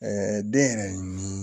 den yɛrɛ ɲi